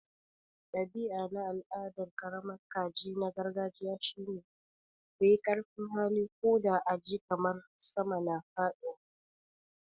Dabi'a na al'adar karamar kaji na gargajiya shine. ku yi ƙarfin hali, ko da a ji kamar sama na faɗuwa.